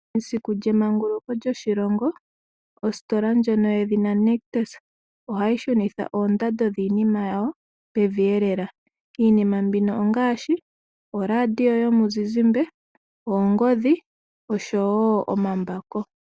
Esiku lyemenguluko lyoshilongo ositola nyoka yedhina Nictus ohayi shunitha oondando dhiinima yawo pevi lela iinima mbika ongaashi ooladio yomuzizimbe, oongodhi osho wo omambako.